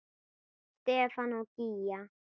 Stefán og Gígja.